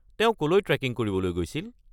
তেওঁ ক'লৈ ট্ৰে'কিং কৰিবলৈ গৈছিল?